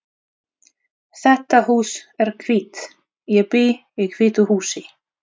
Þetta hús er hvítt. Ég bý í hvítu húsi.